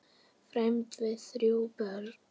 Fermd verða þrjú börn.